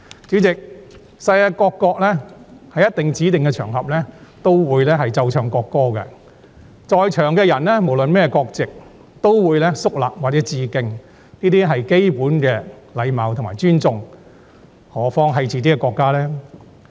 主席，世界各國在指定的場合也會奏唱國歌，在場人士無論是甚麼國籍，也會肅立或致敬，這是基本的禮貌和尊重，更何況是自己國家的國歌呢？